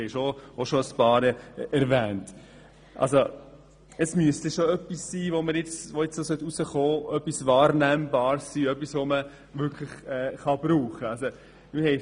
Es müsste also schon etwas Wahrnehmbares herauskommen, das man wirklich brauchen kann.